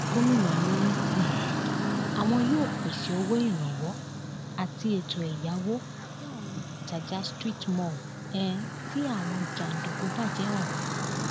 gomina ni um àwọn yóò pèsè owó ìrànwọ àti ètò ẹyáwó fún àwọn òǹtajà street mall um tí àwọn jàǹdùkú bàjẹ ọhún